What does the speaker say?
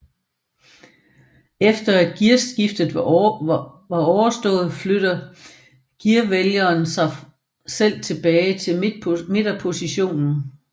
Efter at gearskiftet er overstået flytter gearvælgeren sig selv tilbage til midterpositionen